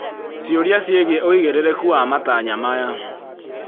Ciũria ciĩgiĩ ũigĩrĩrĩku wa matanya maya